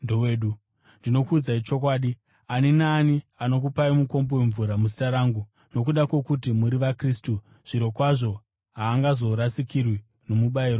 Ndinokuudzai chokwadi, ani naani anokupai mukombe wemvura muzita rangu nokuda kwokuti muri vaKristu zvirokwazvo haangazorasikirwi nomubayiro wake.